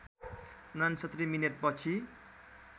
६९ minute पछि